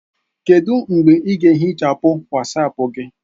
Kedu mgbe ị ga-ehichapụ Wasapu gị?